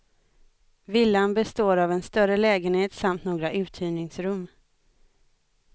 Villan består av en större lägenhet samt några uthyrningsrum.